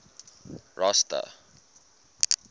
rosta